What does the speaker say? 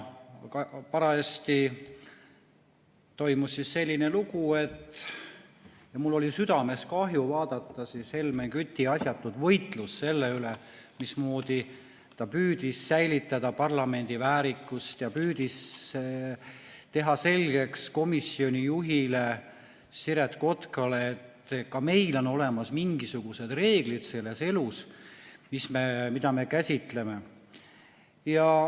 Parajasti toimus selline lugu, et mul oli südames kahju vaadata Helmen Küti asjatut võitlust, mismoodi ta püüdis säilitada parlamendi väärikust ja püüdis teha selgeks komisjoni juhile Siret Kotkale, et ka meil on olemas mingisugused reeglid selles elus, mida me käsitleme.